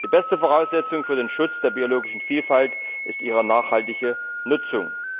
Die beste Voraussetzung für den Schutz der biologischen Vielfalt ist ihre nachhaltige Nutzung.